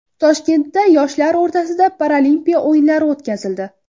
Toshkentda yoshlar o‘rtasida paralimpiya o‘yinlari o‘tkazildi.